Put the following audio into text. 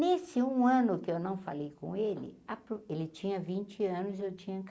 Nesse um ano que eu não falei com ele, apro ele tinha vinte anos e eu tinha